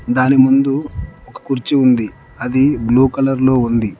దాని ముందు ఒక కుర్చీ ఉంది అది బ్లూ కలర్ లో ఉంది.